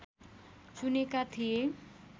चुनेका थिए